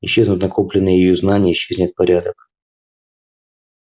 исчезнут накопленные ею знания исчезнет порядок